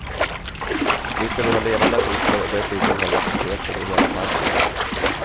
Nu ska vi ha levande artister och dessutom har vi aktiviteter i hela parken.